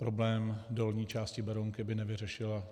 Problém dolní části Berounky by nevyřešila.